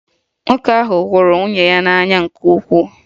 Nwoke ahụ hụrụ nwunye ya n'anya nke ukwuu